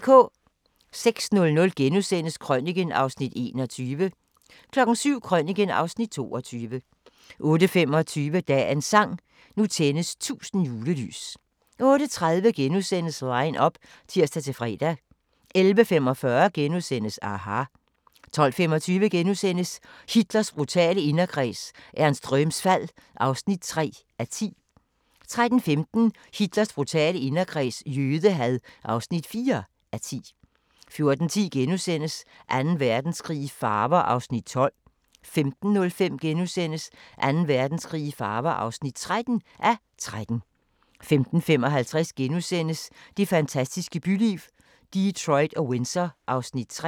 06:00: Krøniken (Afs. 21)* 07:00: Krøniken (Afs. 22) 08:25: Dagens sang: Nu tændes 1000 julelys 08:30: Line up *(tir-fre) 11:45: aHA! * 12:25: Hitlers brutale inderkreds – Ernst Röhms fald (3:10)* 13:15: Hitlers brutale inderkreds – jødehad (4:10) 14:10: Anden Verdenskrig i farver (12:13)* 15:05: Anden Verdenskrig i farver (13:13)* 15:55: Det fantastiske byliv – Detroit og Windsor (Afs. 3)*